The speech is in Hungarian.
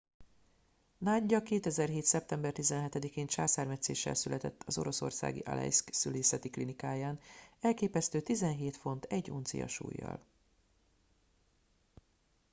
nadia 2007. szeptember 17 én császármetszéssel született az oroszországi alejszk szülészeti klinikáján elképesztő 17 font 1 uncia súllyal